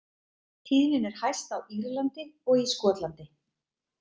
Tíðnin er hæst á Írlandi og í Skotlandi.